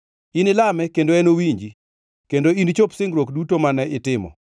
Inilame kendo enowinji, kendo inichop singruok duto mane itimo.